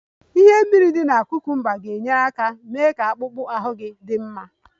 Ihe mmiri dị na cucumbers ga-enyere aka mee ka akpụkpọ ahụ gị dị mma